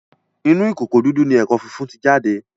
Inú ìkòkò didu ní èkó fífún tí jáde.